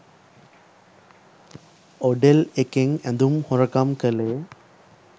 ඔඩෙල් එකෙන් ඇදුම් හොරකම් කලේ?